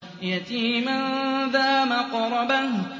يَتِيمًا ذَا مَقْرَبَةٍ